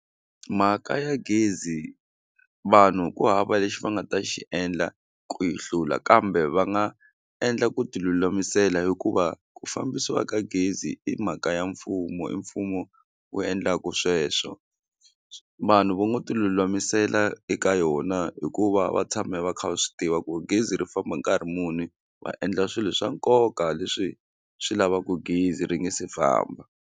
Mhaka ya gezi vanhu ku hava lexi va nga ta xi endla ku yi hlula kambe va nga endla ku ti lulamisela hikuva ku fambisiwa ka gezi i mhaka ya mfumo i mfumo wu endlaka sweswo vanhu va ngo ti lulamisela eka yona hi ku va va tshame va kha va swi tiva ku gezi ri famba hi nkarhi muni va endla swilo swa nkoka leswi swi lavaka gezi ri nga si famba.